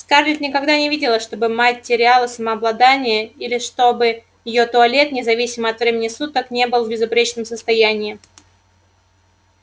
скарлетт никогда не видела чтобы мать теряла самообладание или чтобы её туалет независимо от времени суток не был в безупречном состоянии